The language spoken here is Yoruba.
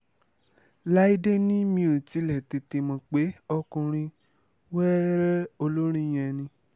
láìdé ni mi ò tilẹ̀ tètè mọ̀ pé ọkùnrin wẹ́rẹ́ olórin yẹn ni